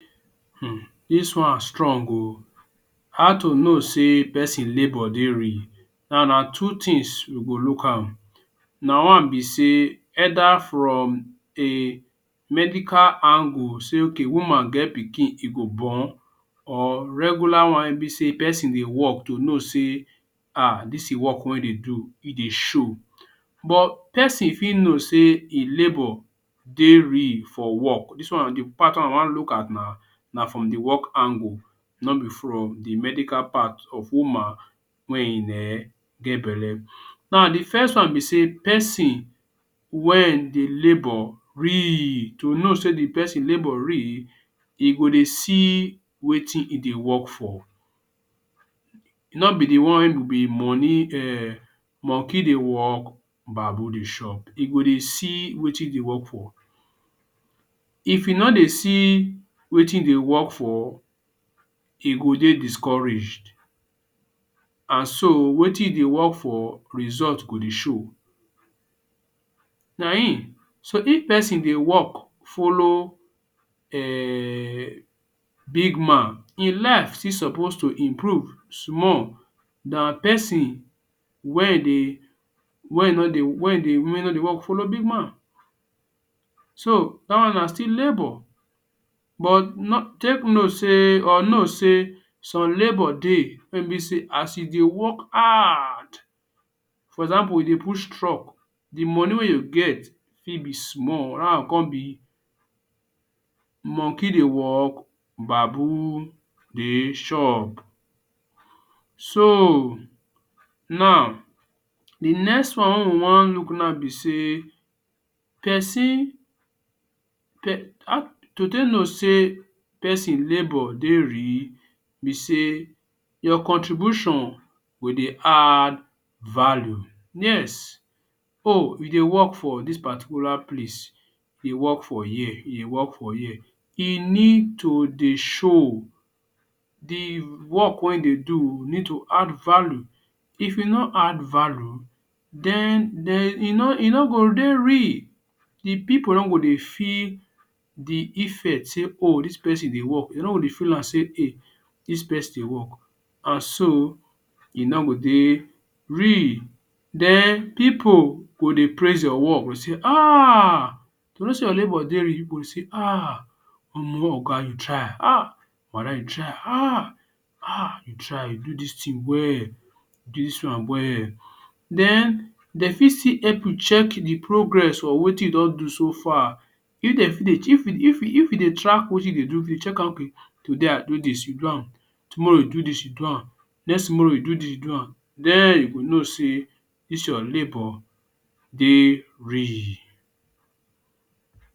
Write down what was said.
Hmm dis wan strong oh. How to know sey peson labour dey real. Now, na two tins you go look am. Na one be sey either from a medical angle sey okay woman get pikin e go born or regular one wey ein be sey peson dey work to know sey um dis e work wey e dey do, e dey show. But peson fit know sey e labour dey real for work. Dis one na d part wey we wan look at now. Na from the work angle, no be from the medical part of woman wey ein um get belle. Now, the first one be sey peson wen dey labour real, to know sey the peson labour real, e go dey see wetin e dey work for. No be the one wey go be money um monkey dey work, baboon dey shop. E go dey see wetin e dey work for. If e no dey see wetin e dey work for, e go dey discouraged, an so wetin e dey work for, result go dey show. Na ein, so if peson dey work, follow um big man, ein life still suppose to improve small than peson wein dey wey e no dey wey dey no dey follow big man. So, dat one na still labour. But take note sey or know sey some labour dey wey be sey as you dey work hard, for example, you dey push truck, the money wey you get fit be small. Dat wan con be monkey dey work, baboon dey shop. So, now, the next one wey we wan look now be sey peson to take know sey peson labour dey real, be sey your contribution go dey add value. Yes. Oh you dey work for dis particular place, e work for here, e work for here, e need to dey show. The work wey you dey do need to add value. If e no add value, then then e no e no go dey real. The pipu don go dey feel the effect sey oh dis peson dey work. De no go dey feel am sey hey, dis dey work. An so, e no go dey real. Den pipu go dey praise your work go say um. To know sey your labour dey real, you go dey say um omoh oga you try, um Walahi you try, um You try. You do dis tin well., you do dis one well. Then, de fit still help you check the progress for wetin you don do so far. If de fit dey if e if e dey track wetin you dey do, if you check am okay today I do dis, you do am, tomorrow you do dis, you do am, next tomorrow, you do dis you do am, then you go know sey dis your labour dey real.